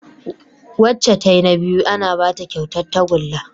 Wacca tayi na biyu ana Bata kyautar tagulla